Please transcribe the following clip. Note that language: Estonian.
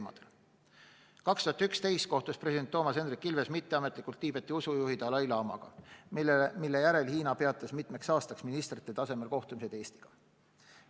2011. aastal kohtus president Toomas Hendrik Ilves mitteametlikult Tiibeti usujuhi dalai-laamaga, mille järel Hiina peatas mitmeks aastaks ministrite tasemel kohtumised Eestiga.